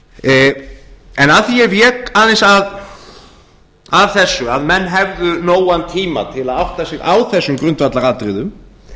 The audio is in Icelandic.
stöðum af því að ég vék aðeins að þessu að menn hefðu nógan tíma til að átta sig á þessum grundvallaratriðum